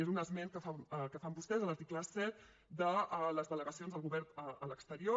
és un esment que fan vostès a l’article set de les delegacions del govern a l’exterior